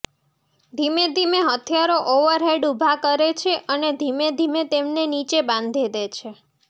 ધીમે ધીમે હથિયારો ઓવરહેડ ઉભા કરે છે અને ધીમે ધીમે તેમને નીચે બાંધી દે છે